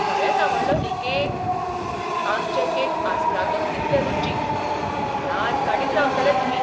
खरेंच आवडलो न्ही केक? आमचे केक आसतातूच तितले रुचीक. याद काडीत रावतले तुमी.